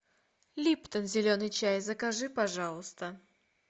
липтон зеленый чай закажи пожалуйста